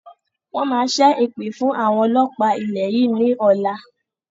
Wọn máa ṣẹ èpè fún àwọn ọlọ́pa ilẹ̀ yìí ni ọ̀la